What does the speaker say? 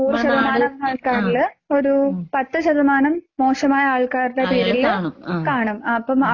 ആഹ് മ്മടെ നാട് ആഹ് ഉം അവരില് കാണും ആഹ് ഉം